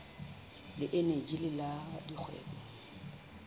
le eneji le la dikgwebo